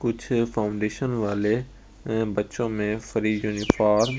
कुछ फाउंडेशन वाले बच्चों में फ्री यूनिफॉर्म --